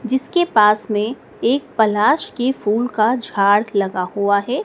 जिसके पास में एक पलाश के फूल का झाड़ लगा हुआ है।